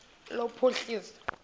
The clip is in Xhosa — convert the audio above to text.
lophuhliso